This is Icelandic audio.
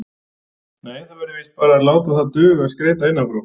Nei, það verður víst bara að láta það duga að skreyta innan frá.